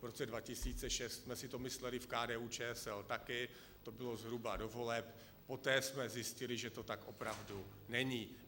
V roce 2006 jsme si to mysleli v KDU-ČSL taky, to bylo zhruba do voleb, poté jsme zjistili, že to tak opravdu není.